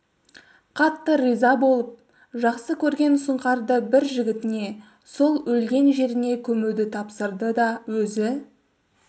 қатты риза болып жақсы көрген сұңқарды бір жігітіне сол өлген жеріне көмуді тапсырды да өзі